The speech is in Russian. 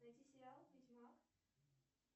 найти сериал ведьмак